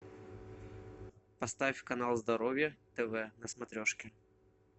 поставь канал здоровье тв на смотрешке